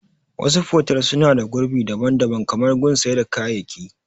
Wasu fotel suna da gurbi daban daban kamar gun sai da kayaki